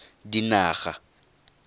dinaga